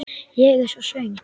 Ég er svo svöng.